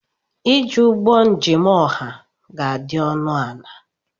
iji ụgbọ njem ọha ga-adị ọnụ ala